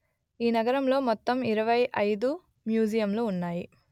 ఈ నగరంలో మొత్తం ఇరవై అయిదు మ్యూజియంలు ఉన్నాయి